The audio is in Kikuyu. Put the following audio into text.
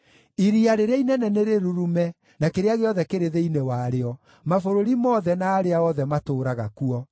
Iria rĩrĩa inene nĩrĩrurume, na kĩrĩa gĩothe kĩrĩ thĩinĩ warĩo, mabũrũri mothe, na arĩa othe matũũraga kuo.